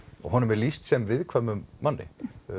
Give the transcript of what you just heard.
og honum er lýst sem viðkvæum manni